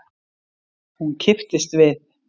Hún kipptist við.